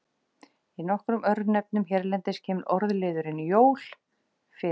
Í nokkrum örnefnum hérlendis kemur orðliðurinn jól fyrir.